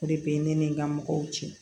O de bɛ ne ni n ka mɔgɔw cɛ